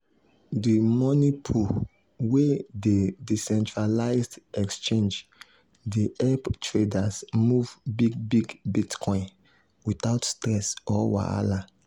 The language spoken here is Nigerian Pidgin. the money pool wey dey decentralized exchange dey help traders move big big bitcoin without stress or wahala.